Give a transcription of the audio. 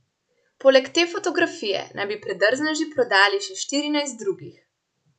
Poleg te fotografije naj bi predrzneži prodajali še štirinajst drugih.